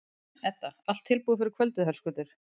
Edda: Allt tilbúið fyrir kvöldið, Höskuldur?